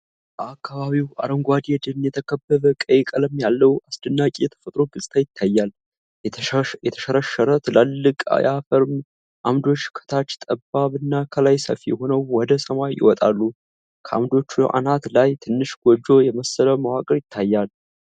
በአካባቢው አረንጓዴ ደን የተከበበ ቀይ ቀለም ያለው አስደናቂ የተፈጥሮ ገጽታ ይታያል። የተሸረሸረ ትላልቅ የአፈር ዓምዶች ከታች ጠባብ እና ከላይ ሰፊ ሆነው ወደ ሰማይ ይወጣሉ። ከዓምዶቹ አናት ላይ ትንሽ ጎጆ የመሰለ መዋቅር ይታያል።